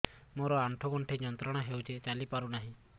ମୋରୋ ଆଣ୍ଠୁଗଣ୍ଠି ଯନ୍ତ୍ରଣା ହଉଚି ଚାଲିପାରୁନାହିଁ